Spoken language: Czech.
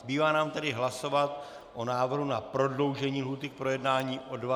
Zbývá nám tedy hlasovat o návrhu na prodloužení lhůty k projednání o 20 dnů.